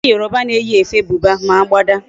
Ndi Yoruba na eyi efe Buba, ma agbada